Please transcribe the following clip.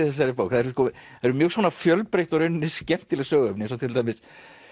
þessari bók það eru eru mjög svona fjölbreytt og í rauninni skemmtileg söguefni eins og til dæmis